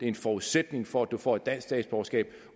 en forudsætning for at du får et dansk statsborgerskab